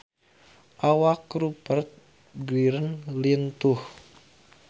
Awak Rupert Grin lintuh